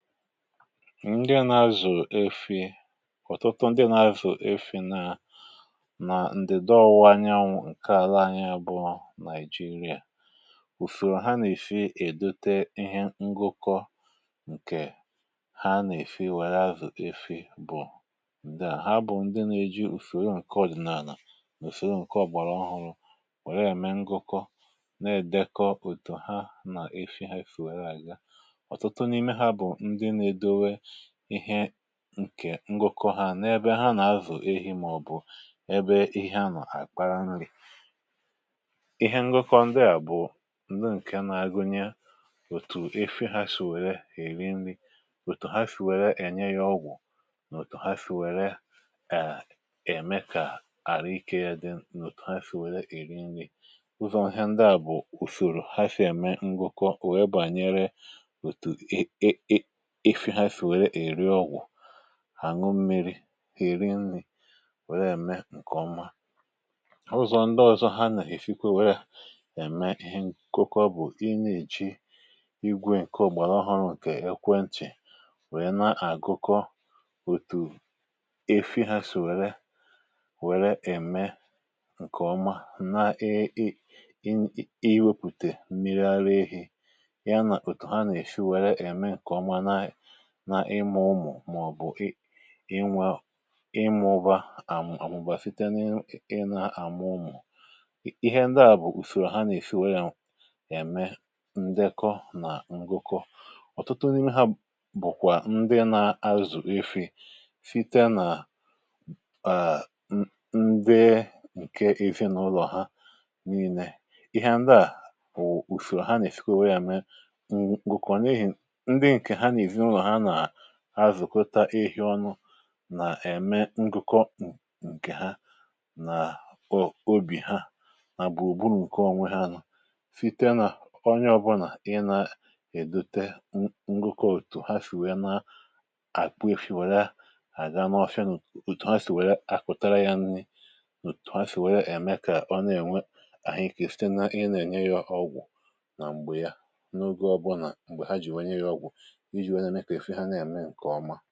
Ndị nà-azụ̀ efi̇, ọ̀tụtụ ndị nà-azụ̀ efi̇ nà nà ǹdèdo ọwụwa ànyá nke àla anyị abụọ, Nàị̀jịrìà, ùfèrò ha nà-èfi̇ èdòte ihe ngụkọ, nke ha nà-èfi̇ wère azụ̀ efi̇... Ụfọdụ n’ime ha bụ̀ ndị nà-èji ùfèrò nke ọ̀dị̀nàà, nà ùfèrò nke ọ̀gbàrà ọhụ̀, wèrè ya mee ngụkọ, na-èdekọ ùtù ha nà efi̇ ha fùrù. um Wèrè ya n’ebe ha nà-azụ̀ efi̇, màọ̀bụ̀ n’ebe ihe a nà-àkpara nri. Ihe ngụkọ ndị à bụ̀ nke nà-àgụnye òtù efi̇ ha, òtù ha sì wèrè èri nri, òtù ha sì wèrè ènye ya ọgwụ̀, nà òtù ha sì wèrè ème kà àrụ ikė ya dị. Ọzọkwa, òtù ha sì wèrè èri nri ụzọ̇ nà bụ̀ ùfèrò ha, sì ème ngụkọ, wèe bànyere hàṅụ mmiri̇ um Ha nà-èri nri̇, wèrè ème nke ọma. Ndị ọzọ ha nà-èfikwa, wèrè ème ihe ngụkọ bụ̀ inyèchi igwè nke ọ̀gbàrà ọhụ̀, nke ekwentì̀, wèrè na-àgụkọ òtù efi̇ ha, sì wèrè ème nke ọma... n’iwépụ̀tè mmiri ara ehi̇ ya um Nà òtù ha nà-èshi, wèrè ème nke ọma n’ịmụ̇ ụmụ̀, màọ̀bụ̀ n’ịnwà ịmụ̇ ụbà, àmụ̀bà site n’ịnà àmụ̀ ụmụ̀. Ihe ndị à bụ̀ ùsòrò ha nà-èsi wèrè yà mee ndekọ nà ngụkọ. Ọ̀tụtụ n’ime ha bụ̀kwa ndị nà-azụ̀ efi̇ site nà ndị nke ezinụlọ̀ ha um N’ịnē ihe ndị à, bụ̀ ùsòrò ha nà-èsi wèrè yà mee, ha zụ̀kọta efi̇ ọnụ, nà-ème ngụkọ nke ha n’òbì ha. Nà bú ùgburu̇ nke onwe ha, nà site nà onye ọ̀bụ̀là, nà i na-èdòte ngụkọ. Òtù ha sì wèe, na-àkpọ efi̇, wèe wèe ha gà n’ọfịa... N’òtù ha sì wèe, akùtara ya nri, òtù ha sì wèe ème kà ọ na-ènwe àhụ ikė, site nà ihe nà-ènye ya ọgwụ̀, um nà m̀gbè ọ̀bụ̀là, m̀gbè ha jì wee nye ya ọgwụ̀. Ọfị ha nà-ème nke ọma.